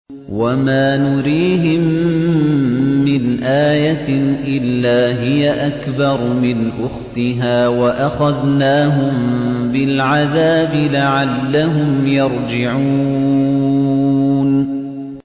وَمَا نُرِيهِم مِّنْ آيَةٍ إِلَّا هِيَ أَكْبَرُ مِنْ أُخْتِهَا ۖ وَأَخَذْنَاهُم بِالْعَذَابِ لَعَلَّهُمْ يَرْجِعُونَ